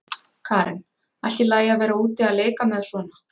Karen: Allt í lagi að vera úti að leika með svona?